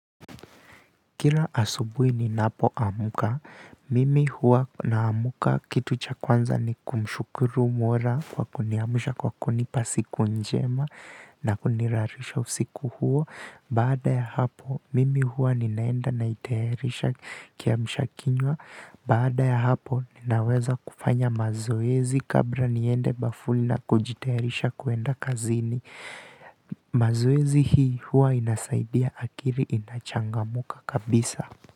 Kila asubuhi ninapoamka, mimi huwa naamka kitu cha kwanza ni kumshukuru Mola kwa kuniamsha, kwa kunipa siku njema na kunilalisha usiku huo. Baada ya hapo, mimi huwa ninaenda na kuteremsha kiamsha kinywa. Baada ya hapo, ninaweza kufanya mazoezi kabla niende bafuni na kujitayarisha kwenda kazini. Mazoezi hii huwa inasaidia akili inachangamka kabisa.